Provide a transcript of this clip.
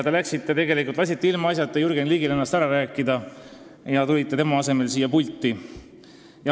Te lasite ilmaasjata Jürgen Ligil ennast ära rääkida ja tulite tema asemel siia pulti.